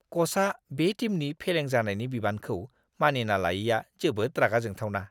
क'चआ बे टीमनि फेलें जानायनि बिबानखौ मानिना लायैआ जोबोद रागा जोंथावना!